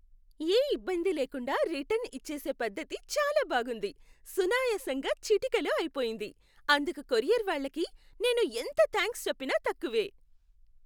యే ఇబ్బంది లేకుండా రిటర్న్ ఇచ్చేసే పద్ధతి చాలా బావుంది. సునాయసంగా చిటికెలో అయిపోయింది. అందుకు కొరియర్ వాళ్ళకి నేను ఎంత థాంక్స్ చెప్పినా తక్కువే.